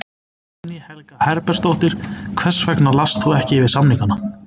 Guðný Helga Herbertsdóttir: Hvers vegna last þú ekki yfir samningana?